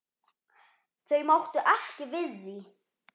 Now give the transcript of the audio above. Þau máttu ekki við því.